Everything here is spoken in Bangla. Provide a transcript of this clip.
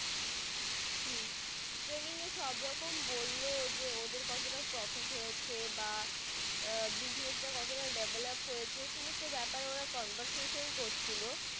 training এ সব রকম বললো যে ওদের কতটা profit হয়েছে বা আহ business তা কত তা develop হয়েছে সমস্তহ বেপার ওরা conversation করছিলো।